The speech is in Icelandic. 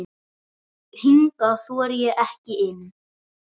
Hingað þori ég ekki inn.